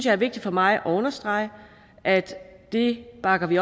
er vigtigt for mig at understrege at det bakker vi